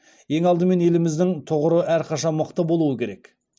ең алдымен еліміздің тұғыры әрқашан мықты болуы керек